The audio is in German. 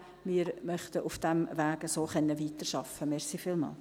Wir möchten auf diesem Weg weiterarbeiten können.